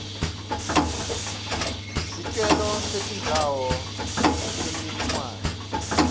sicelo setindzawo temininingwane